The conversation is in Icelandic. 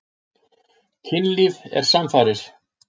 Kynlíf er samfarir.